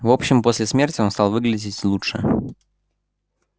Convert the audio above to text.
в общем после смерти он стал выглядеть лучше